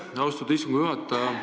Aitäh, austatud istungi juhataja!